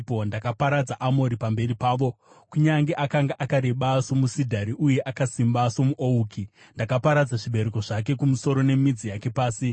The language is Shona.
“Ndakaparadza Amori pamberi pavo, kunyange akanga akareba somusidhari uye akasimba somuouki. Ndakaparadza zvibereko zvake kumusoro nemidzi yake pasi.